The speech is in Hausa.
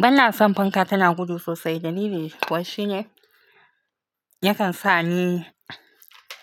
Banason fanka tana gudu sosai dalili kuwa shine yakan sani